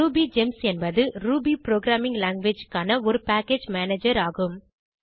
RubyGems என்பது Ruby programming language க்கான ஒரு பேக்கேஜ் மேனேஜர் ஆகும்